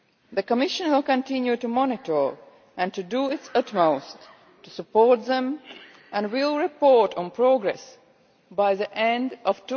The Commission will continue to monitor and to do its utmost to support them and will report on progress by the end of